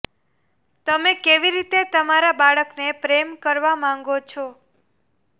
તમે કેવી રીતે તમારા બાળકને પ્રેમ કરવા માંગો છો